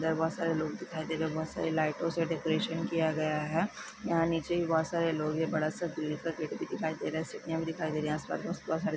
अंदर बहोत सारे लोग दिखाई दे रहे हैं बहोत सारी लाइटो से डेकोरेशन किया गया हैं यहाँ नीचे भी बहोत सारे लोग हैं बड़ा-सा ग्रिल का गेट भी दिखाई दे रहा हैं सीढ़िया भी दिखाई दे रही हैं आसपास बस बहुत सारे--